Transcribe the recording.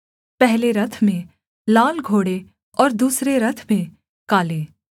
पहले रथ में लाल घोड़े और दूसरे रथ में काले